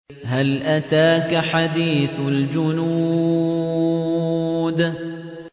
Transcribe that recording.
هَلْ أَتَاكَ حَدِيثُ الْجُنُودِ